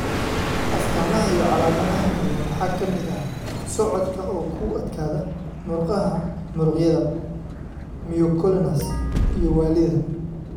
Astaamaha iyo calaamadaha kale waxaa ka mid ah socodka oo ku adkaada, murqaha muruqyada (myoclonus) iyo waallida.